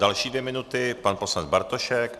Další dvě minuty pan poslanec Bartošek.